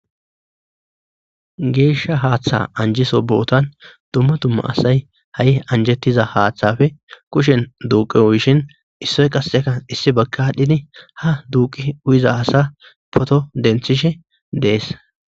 Geeshsha haaththa anjiso bootan dumma dumma asay ha7i anjettiza haaththafe kushen duuqi uyishin issoy qasseka issi bagkadhidi ha duuqi u7iza hasa poto denthishe dees